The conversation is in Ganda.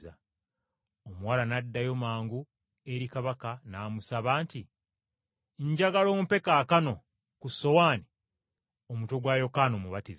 Omuwala n’addayo mangu eri kabaka n’amusaba nti, “Njagala ompe kaakano, ku ssowaani, omutwe gwa Yokaana Omubatiza!”